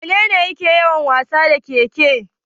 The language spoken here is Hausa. Wanene yake yawan wasa da ƙeƙe?